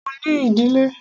Mo ní ìdílé.